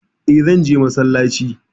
E, zan je masallaci.